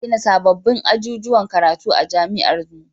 Za a gina sabbabin ajujuwan karatu a jami'ar mu